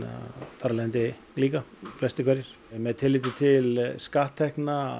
þar af leiðandi líka flestir hverjir með tilliti til